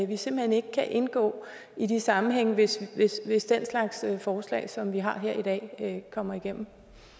vi simpelt hen ikke kan indgå i de sammenhænge hvis hvis den slags forslag som vi har her i dag kommer igennem